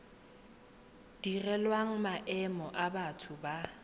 direlwang maemo a batho ba